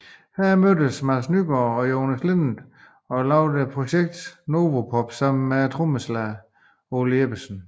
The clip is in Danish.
Her mødtes Mads Nygaard og Jonas Linnet og lavede projektet Novopop sammen med trommeslageren Ole Jeppesen